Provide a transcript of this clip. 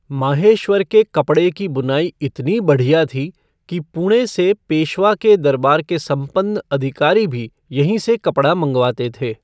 माहेश्वर के कपड़े की बुनाई इतनी बढ़िया थी कि पुणे से पेशवा के दरबार के संपन्न अधिकारी भी यहीं से कपड़ा मँगवाते थे।